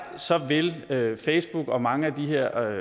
vil vil facebook og mange af de her